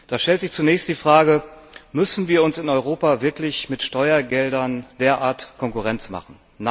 Da stellt sich zunächst die Frage Müssen wir uns in Europa wirklich mit Steuergeldern derart Konkurrenz machen?